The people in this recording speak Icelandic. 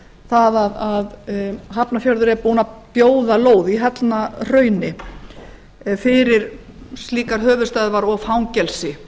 það að hafnarfjörður er búinn að bjóða lóð í hellnahrauni fyrir slíkar höfuðstöðvar og fangelsi